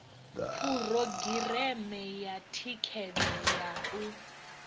phurogireme ya thikhedzo ya u